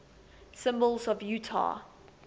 symbols of utah